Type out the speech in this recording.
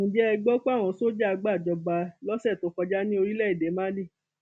ǹjẹ ẹ gbọ pé àwọn sójà gbàjọba lọsẹ tó kọjá ní orílẹèdè málí